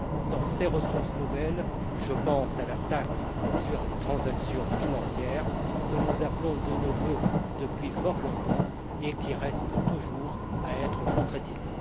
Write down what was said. Dans ces ressources nouvelles, je pense à la taxe sur les transactions financières, que nous appelons de nos vœux depuis fort longtemps et qui reste toujours à concrétiser.